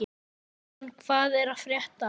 Leon, hvað er að frétta?